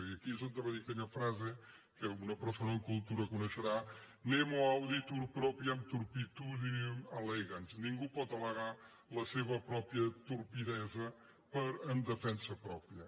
i aquí és on es va dir aquella frase que una persona amb cultura coneixerà nemo auditur propriam turpitudinem allegans ningú pot al·legar la seva pròpia turpitud en defensa pròpia